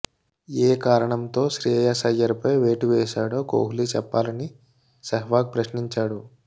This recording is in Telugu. ఏ కారణంతో శ్రేయాస్ అయ్యర్పై వేటు వేశాడో కోహ్లి చెప్పాలని సెహ్వాగ్ ప్రశ్నించాడు